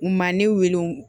U ma ne wele